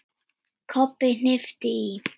Kobbi hnippti í